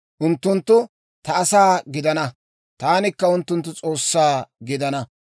Unttunttu ta asaa gidana; taanikka unttunttu S'oossaa gidana.